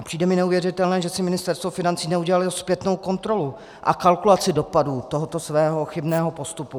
A přijde mi neuvěřitelné, že si Ministerstvo financí neudělalo zpětnou kontrolu a kalkulaci dopadu tohoto svého chybného postupu.